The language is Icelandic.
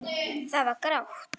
Það var grátt.